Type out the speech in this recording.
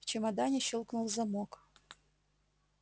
в чемодане щёлкнул замок